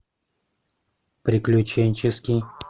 приключенческий